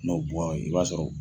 i b'a sɔrɔ